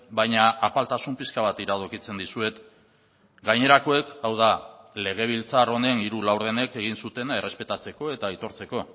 baina apaltasun pixka bat iradokitzen dizuet gainerakoek hau da legebiltzar honen hiru laurdenek egin zutena errespetatzeko eta aitortzeko